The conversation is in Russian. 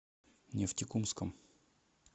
нефтекумском